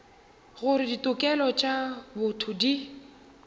gore ditokelo tša botho di